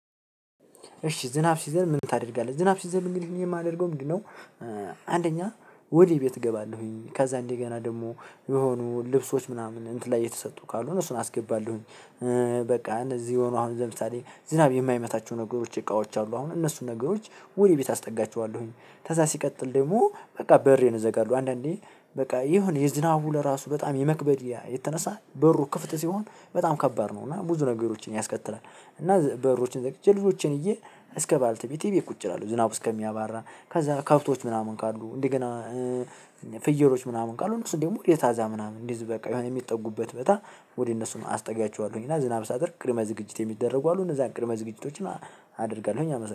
እሺ ዝናብ ሲዘንብ ምን ታደርጋለህ ዝናብ ሲዘንብ እንግዲህ እኔ የማደርገው ምንድነው? አንደኛ ወደ ቤት እገባለሁኝ ከዛ እንደገና ደግሞ የሆኑ ልብሶች ምናምን እንትን ላይ የተሰጡ ካሉ እሱን አስገባለሁኝ። በቃ እንደዚህ ሆኖ አሁን ለምሳሌ ዝናብ የማይመታቸው ነገሮች እቃዎች አሉ አሁን እነሱን ነገሮች ወደ ቤት አስጠጋቸዋለሁኝ። ከዛ ሲቀጥል ደግሞ በቃ በሬን እዘጋለው አንዳንዴ በቃ የሆነ የዝናቡ ለራሱ በጣም የመክበድ የተነሳ በሩ ክፍት ሲሆን በጣም ከባድ ነው እና ብዙ ነገሮችን ያስከትላል። እና በሮችን ዘግይቼ ልጆችን ይዜ እስከ ባልተቤቴ እቤት ቁጭ እላለሁ። ዝናቡ እስከሚያባራ ከዛ ከብቶች ምናምን ካሉ እንደገና ፍየሎች ምናምን ካሉ ደግሞ እነሱን ምናምን እንዲህ በቃ የሆነ የሚጠጉበት ቦታ። ወደ እነሱ አስጠጋቸኋለሁኝ እና ዝናብ ሲያደርግ ቅድመ ዝግጅት የሚደረጉ አሉ እነዛን ቅድመ ዝግጅቶችን አደርጋለሁኝ